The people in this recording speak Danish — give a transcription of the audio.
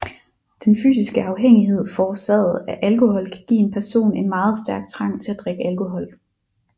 Den fysiske afhængighed forårsaget af alkohol kan give en person en meget stærk trang til at drikke alkohol